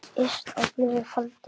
Yst á blöðum faldur.